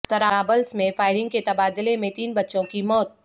طرابلس میں فائرنگ کے تبادلہ میں تین بچوں کی موت